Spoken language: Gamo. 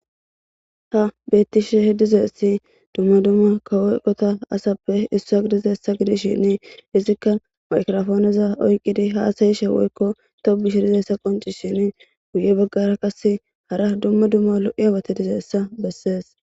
Betishe dizays dumma dumma kawo eqotan asappe Isa gidishin izika magrapone ( microphone) oykid hasa'ashe woyko tobshe dizaysa qoncisishin hara bagara qase hara dumma dumma lo'iyabat diyaysa beses.